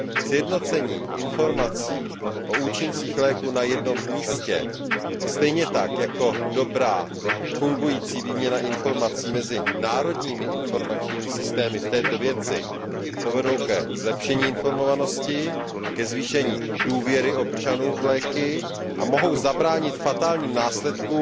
Sjednocení informací o účincích léků na jednom místě, stejně tak jako dobrá, fungující výměna informací mezi národními informačními systémy v této věci povedou ke zlepšení informovanosti, ke zvýšení důvěry občanů v léky a mohou zabránit fatálním následkům,